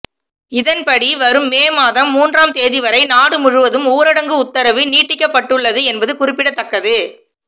இதன்படி வரும் மே மாதம் மூன்றாம் தேதி வரை நாடு முழுவதும் ஊரடங்கு உத்தரவு நீட்டிக்கப்பட்டுள்ளது என்பது குறிப்பிடத்தக்கது